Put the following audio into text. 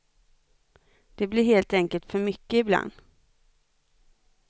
Det blir helt enkelt för mycket ibland.